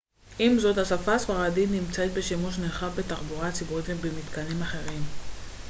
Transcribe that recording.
עם זאת השפה הספרדית נמצאת בשימוש נרחב בתחבורה הציבורית ובמתקנים אחרים